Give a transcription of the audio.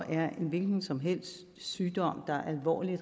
er en hvilken som helst sygdom er alvorlig og